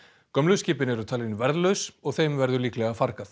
gömlu skipin eru talin verðlaus og þeim verður líklega fargað